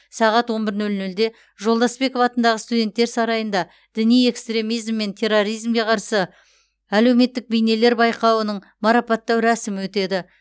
сағат он бір нөл нөлде жолдасбеков атындағы студенттер сарайында діни экстремизм мен терроризмге қарсы әлеуметтік бейнелер байқауының марапаттау рәсімі өтеді